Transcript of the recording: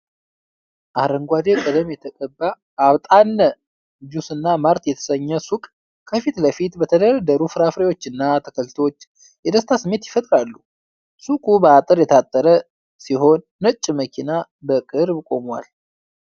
አረንጓዴ ቀለም የተቀባ "አብጣነ" ጁስና ማርት የተሰኘ ሱቅ ከፊት ለፊቱ በተደረደሩ ፍራፍሬዎችና አትክልቶች የደስታ ስሜት ይፈጥራል። ሱቁ በአጥር የታጠረ ሲሆን ነጭ መኪና በቅርብ ቆሟል።